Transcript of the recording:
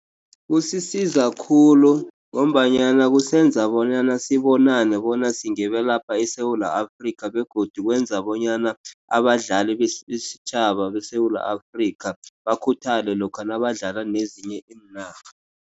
Kusiza khulu ngombanyana kusenza bonyana sibonane bona singebelapha eSewula Afrika, begodu kwenza bonyana abadlali besitjhaba beSewula Afrika bakhuthale lokha nabadlala nezinye iinarha.